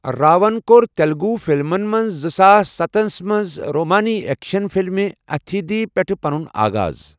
راون کوٚر تیٚلُگوٗ فِلمن منٛز زٕساس سَتس منٛز رومٲنی ایٚکشن فِلمہِ اَتھیٖدِھی پیٚٹھٕہ پنُن آغاز۔